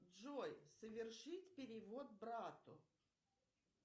джой совершить перевод брату